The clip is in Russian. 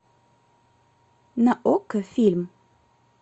на окко фильм